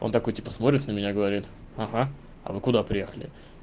он такой типа смотрит на меня говорит ага а вы куда приехали